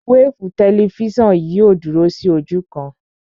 Wéèfù tẹlifísàn yìí ò dúró sí ojú kan